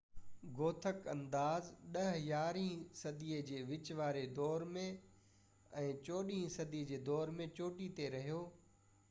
Gothic انداز 10 - 11 هين صدي جي وچ واري دور ۽ 14 هين صدي جي دور ۾ چوٽي تي رھيو